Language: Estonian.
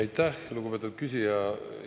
Aitäh, lugupeetud küsija!